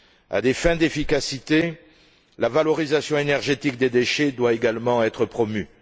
À des fins d'efficacité, la valorisation énergétique des déchets doit également être promue.